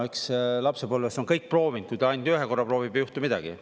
Eks lapsepõlves on kõik proovinud, kui ta ainult ühe korra proovib, ei juhtu midagi.